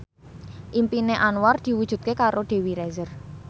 impine Anwar diwujudke karo Dewi Rezer